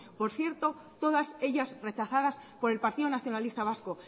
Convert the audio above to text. por cierto todas ellas rechazadas por el partido nacionalista vasco